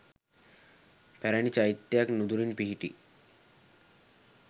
පැරණි චෛත්‍යයක් නුදුරින් පිහිටි